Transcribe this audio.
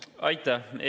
Aitäh!